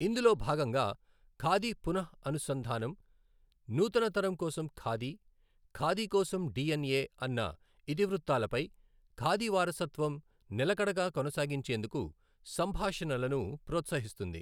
ఇందులో భాగంగా, ఖాదీ పునః అనుసంధానం, నూతన తరం కోసం ఖాదీ, ఖాదీ కోసం డిఎన్ఎ అన్న ఇతివృత్తాలపై ఖాదీ వారసత్వం, నిలకడగా కొనసాగించేందుకు సంభాషణలను ప్రోత్సహిస్తుంది.